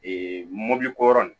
Ee mɔbili ko yɔrɔ nin